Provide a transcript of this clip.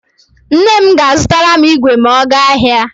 Nne m ga-azụtara m igwe ma ọ gaa ahịa.